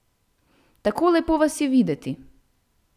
Tako lepo vas je videti ...